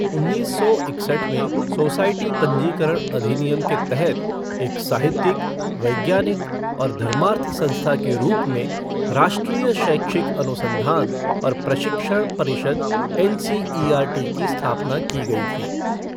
उन्नीस सौ इकसठ में सोसायटी पंजीकरण अधिनियम के तहत एक साहित्यिक, वैज्ञानिक और धर्मार्थ संस्था के रूप में राष्ट्रीय शैक्षिक अनुसंधान और प्रशिक्षण परिषद N C E R T की स्थापना की गई थी।